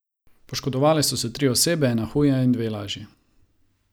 Poškodovale so se tri osebe, ena huje in dve lažje.